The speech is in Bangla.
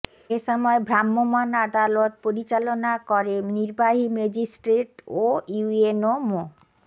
এ সময় ভ্রাম্যমাণ আদালত পরিচালনা করে নির্বাহী ম্যাজিস্ট্রেট ও ইউএনও মো